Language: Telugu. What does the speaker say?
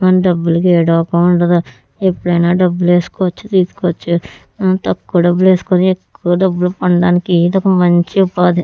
మన డబ్బులకి ఏడోక ఉండదు. ఎప్పుడైనా డబ్బులు వేసుకోవచ్చు తీసుకోవచ్చు. తక్కువ డబ్బులు వేసుకొని ఎక్కువ డబ్బులు పొందడానికి ఇది ఒక మంచి ఉపాధి.